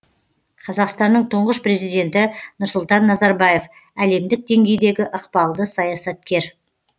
қазақстанның тұңғыш президенті нұрсұлтан назарбаев әлемдік деңгейдегі ықпалды саясаткер